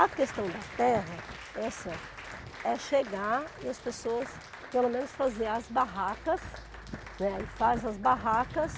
A questão da terra é assim, ó, é chegar e as pessoas, pelo menos, fazer as barracas, né aí faz as barracas